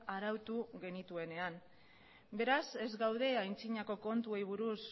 arautu genituenean beraz ez gaude aintzinako kontuei buruz